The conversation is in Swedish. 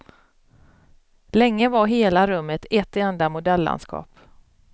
Länge var hela rummet ett enda modellandskap.